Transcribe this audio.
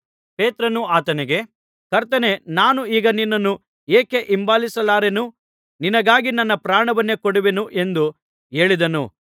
ಪೇತ್ರನು ಆತನಿಗೆ ಕರ್ತನೇ ನಾನು ಈಗ ನಿನ್ನನ್ನು ಏಕೆ ಹಿಂಬಾಲಿಸಲಾರೆನು ನಿನಗಾಗಿ ನನ್ನ ಪ್ರಾಣವನ್ನೇ ಕೊಡುವೆನು ಎಂದು ಹೇಳಿದನು